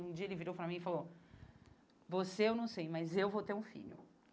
Um dia ele virou para mim e falou, você eu não sei, mas eu vou ter um filho.